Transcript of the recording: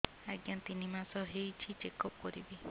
ଆଜ୍ଞା ତିନି ମାସ ହେଇଛି ଚେକ ଅପ କରିବି